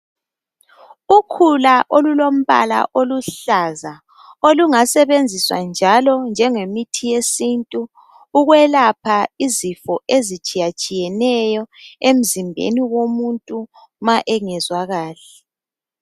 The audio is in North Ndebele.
Ukhula olulombala oluhlaza olungasebenziswa njalo njengemithi yesintu ukwelapha izifo ezitshiya tshiyeneyo emzimbeni womuntu ma engezwa kahle.